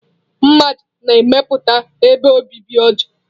Mmaja na-emepụta ebe obibi ọjọọ.